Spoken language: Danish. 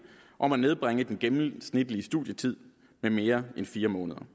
om at nedbringe den gennemsnitlige studietid med mere end fire måneder